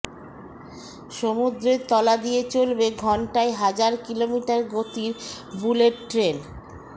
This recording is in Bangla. সমুদ্রের তলা দিয়ে চলবে ঘণ্টায় হাজার কিলোমিটার গতির বুলেট ট্রেন